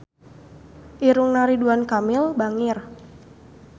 Irungna Ridwan Kamil bangir